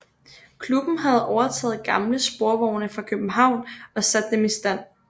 Klubben havde overtaget gamle sporvogne fra København og sat dem i stand